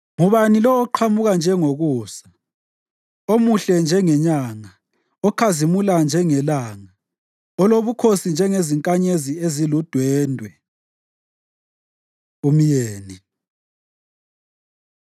Ngubani lo oqhamuka njengokusa, omuhle njengenyanga, okhazimula njengelanga, olobukhosi njengezinkanyezi ziludwendwe? Umyeni